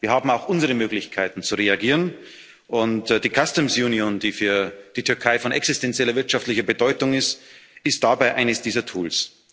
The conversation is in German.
Wir haben auch unsere Möglichkeiten zu reagieren, und die customs union die für die Türkei von existenzieller wirtschaftlicher Bedeutung ist, ist dabei eines dieser Tools.